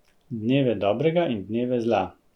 Dneve dobrega in dneve zla.